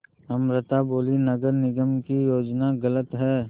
अमृता बोलीं नगर निगम की योजना गलत है